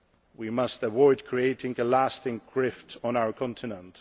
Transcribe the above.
We must avoid creating a lasting rift on our continent.